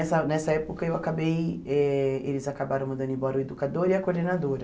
nessa nessa época eu acabei eh eles acabaram mandando embora o educador e a coordenadora.